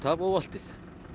af og oltið